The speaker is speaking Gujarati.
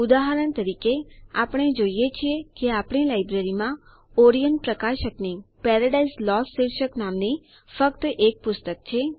ઉદાહરણ તરીકે આપણે જોઈએ છીએ કે આપણી લાઈબ્રેરીમાં ઓરિયન્ટ પ્રકાશકની પેરાડાઇઝ લોસ્ટ શીર્ષક નામની ફક્ત એક પુસ્તક છે